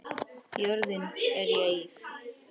Jörðin er í eyði.